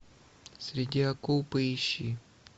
среди акул поищи